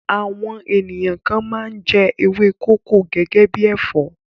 Àwọn ènìyàn kan máa ń jẹ ewé kókò gẹ́gẹ́ bí ẹ̀fọ́.